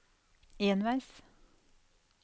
enveis